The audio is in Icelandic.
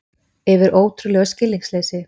Yfir ótrúlegu skilningsleysi